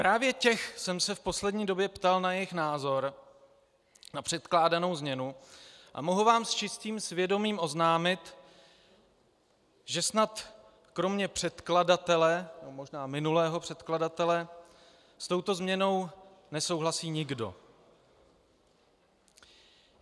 Právě těch jsem se v poslední době ptal na jejich názor na předkládanou změnu a mohu vám s čistým svědomím oznámit, že snad kromě předkladatele, nebo možná minulého předkladatele, s touto změnou nesouhlasí nikdo.